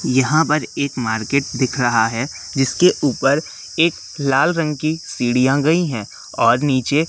यहां पर एक मार्केट दिख रहा है जिसके ऊपर एक लाल रंग की सीढ़ियां गई हैं और नीचे--